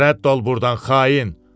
Rədd ol burdan, xain.